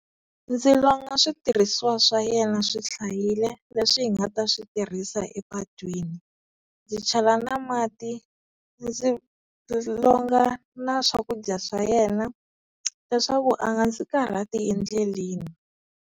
Ndzi longa switirhisiwa swa yena swi hlayile leswi hi nga ta switirhisa epatwini, ndzi chela na mati ndzi ndzi longa na swakudya swa yena leswaku a nga ndzi karhati endleleni.